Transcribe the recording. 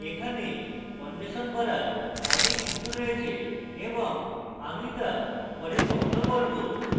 এখানে অন্বেষণ করার অনেক কিছু রয়েছে এবং আমি তা পরে কখনো বলব